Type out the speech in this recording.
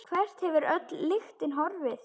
Hvert hefur öll lyktin horfið?